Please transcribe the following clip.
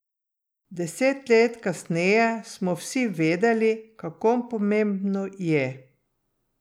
Deset let kasneje smo vsi vedeli, kako pomembno je.